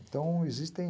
Então, existem...